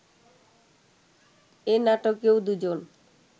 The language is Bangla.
এ নাটকেও দুজন